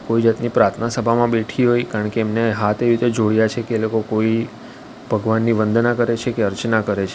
કોઈ જાતની પ્રાર્થના સભામાં બેઠી હોય કારણ કે એમને હાથ એવી રીતે જોડીયા છે કે એ લોકો કોઈ ભગવાનની વંદના કરે છે કે અર્ચના કરે છે.